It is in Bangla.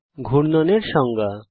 ঘূর্ণন এর সংজ্ঞা